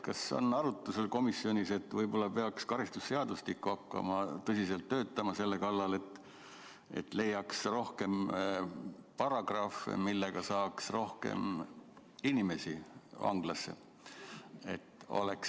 Kas on komisjonis arutatud, et võib-olla peaks karistusseadustikku hakkama tõsiselt ümber töötama, et leiaks rohkem paragrahve, mille alusel saaks rohkem inimesi vanglasse saata?